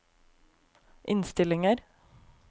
innstillinger